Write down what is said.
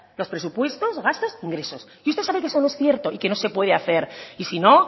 los presupuestos gastos e ingresos y usted sabe que eso no es cierto y que no se puede hacer y si no